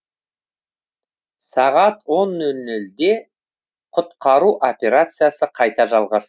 сағат он нол нолде құтқару операциясы қайта жалғасты